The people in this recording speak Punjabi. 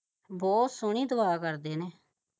ਸੋਹਣੀ ਦੁਆ ਕਰਦੇ ਨੇ